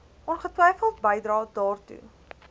ongetwyfeld bydrae daartoe